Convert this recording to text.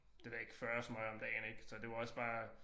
Det ved jeg ikke 40 smøger om dagen ik så det var også bare